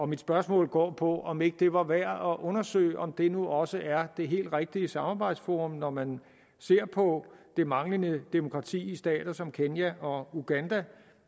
mit spørgsmål går på om ikke det var værd at undersøge om det nu også er det helt rigtige samarbejdsforum når man ser på det manglende demokrati i stater som kenya og uganda